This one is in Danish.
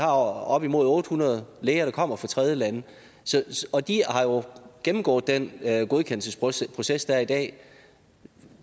op imod otte hundrede læger der kommer fra tredjelande og de har jo gennemgået den godkendelsesproces der er i dag